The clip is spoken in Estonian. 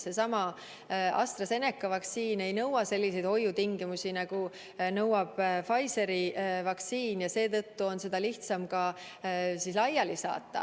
Seesama AstraZeneca vaktsiin ei nõua selliseid hoiutingimusi, nagu nõuab Pfizeri vaktsiin, ja seetõttu on seda lihtsam laiali saata.